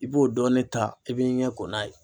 I b'o dɔɔnin ta i b'i ɲɛ ko n'a ye.